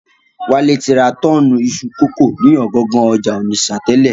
Wálé ti ra tọ́ọ̀nù iṣu kókò ni ọ̀gangan ọjà Ònìṣà tẹ́lẹ̀